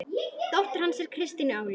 Dóttir hans er Kristín Áslaug.